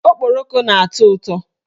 Okporoko na-atọ ụtọ.